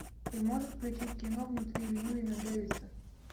ты можешь включить кино внутри льюина дэвиса